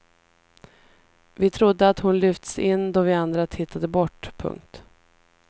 Vi trodde att hon lyfts in då vi andra tittade bort. punkt